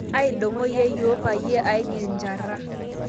Aidong'o yeiyo payie agil njaraa